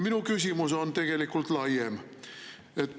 Minu küsimus on tegelikult laiem.